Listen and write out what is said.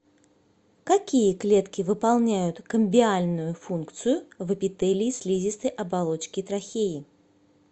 какие клетки выполняют камбиальную функцию в эпителии слизистой оболочки трахеи